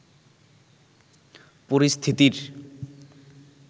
পরিস্থিতির